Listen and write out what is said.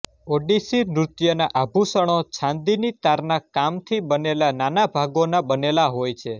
ઓડિસી નૃત્યના આભૂષણો છાંદીની તારના કામથી બનેલા નાના ભાગોના બનેલા હોય છે